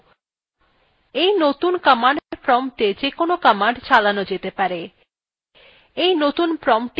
এই নতুন command prompta যেকোনো command চালানো যেতে পারে এই নতুন promptটিতে ls command চালান যাক